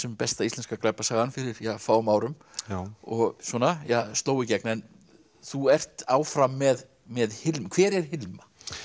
besta íslenska glæpasagan fyrir fáum árum já og sló í gegn þú ert áfram með með Hilmu hver er Hilma